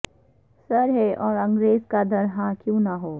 سر ہے اور انگریز کا در ہاں کیوں نہ ہوں